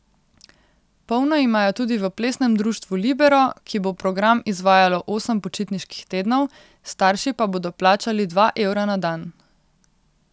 Polno imajo tudi v Plesnem društvu Libero, ki bo program izvajalo osem počitniških tednov, starši pa bodo plačali dva evra na dan.